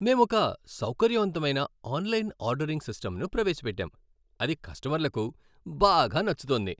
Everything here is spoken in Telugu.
మేమొక సౌకర్యవంతమైన ఆన్లైన్ ఆర్డరింగ్ సిస్టంను ప్రవేశపెట్టాం, అది కస్టమర్లకు బాగా నచ్చుతోంది.